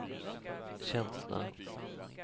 känsla